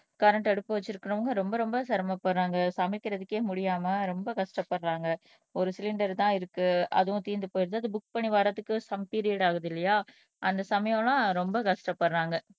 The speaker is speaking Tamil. கரண்ட் அடுப்பு வச்சிருக்கிறவங்க ரொம்ப ரொம்ப சிரமப்படுறாங்க சமைக்கிறதுக்கே முடியாம ரொம்ப கஷ்டப்படுறாங்க ஒரு சிலிண்டர்தான் இருக்கு அதுவும் தீர்ந்து போயிடுது அது புக் பண்ணி வர்றதுக்கு சம் பீரியட் ஆகுது இல்லையா அந்த சமயம்லாம் ரொம்ப கஷ்டப்படுறாங்க